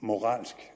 moralsk